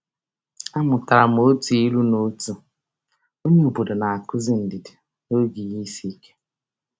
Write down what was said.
A mụtara m otu ilu n’otu onyeobodo na-akụzi ndidi n’oge ihe isiike.